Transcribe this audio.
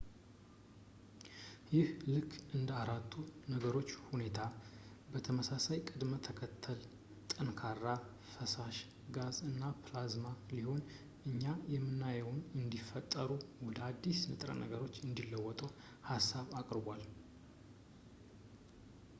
ይህ ልክ እንደ አራቱ የነገሮች ሁኔታ በተመሳሳይ ቅደም ተከተል-ጠንካራ ፣ ፈሳሽ ፣ ጋዝ እና ፕላዝማ ቢሆንም እኛ የምናየውን እንዲፈጠሩ ወደ አዳዲስ ንጥረ ነገሮች እንዲለወጡ ሀሳብ አቅርቧል